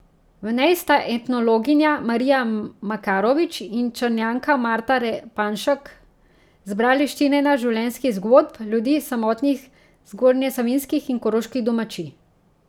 V njej sta etnologinja Marija Makarovič in Črnjanka Marta Repanšek zbrali štirinajst življenjskih zgodb ljudi s samotnih zgornjesavinjskih in koroških domačij.